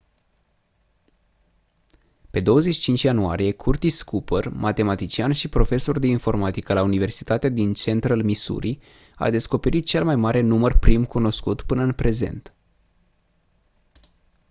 pe 25 ianuarie curtis cooper matematician și profesor de informatică la universitatea din central missouri a descoperit cel mai mare număr prim cunoscut până în prezent